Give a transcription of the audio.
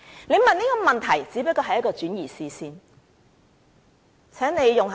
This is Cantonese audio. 他們問這個問題，只是在轉移視線而已。